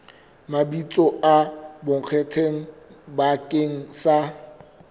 mabitso a bonkgetheng bakeng sa